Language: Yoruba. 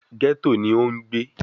Gẹ́tò ni ó ń gbé